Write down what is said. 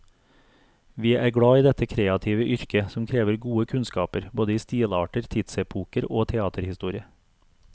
Vi er glad i dette kreative yrket, som krever gode kunnskaper både i stilarter, tidsepoker og teaterhistorie.